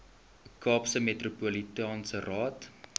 kaapse metropolitaanse raad